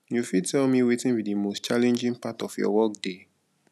you fit tell me wetin be di most challenging part of your workday